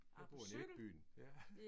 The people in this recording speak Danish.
Jeg bor i midtbyen ja